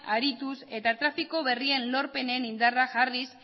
arituz eta trafiko berrien lorpenen indarra jarriz